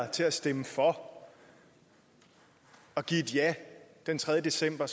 til at stemme for og give et ja den tredje december